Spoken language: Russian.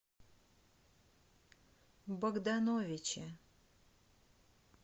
богдановиче